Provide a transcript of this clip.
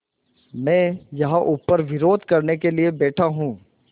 मैं यहाँ ऊपर विरोध करने के लिए बैठा हूँ